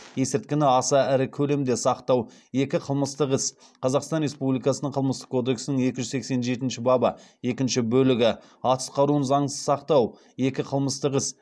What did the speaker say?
екі қылмыстық іс қазақстан республикасының қылмыстық кодексінің екі жүз сексен жетінші бабы екінші бөлігі екі қылмыстық іс